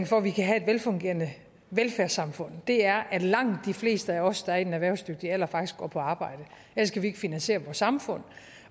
for at vi kan have et velfungerende velfærdssamfund er at langt de fleste af os der er i den erhvervsdygtige alder faktisk går på arbejde ellers kan vi ikke finansiere vores samfund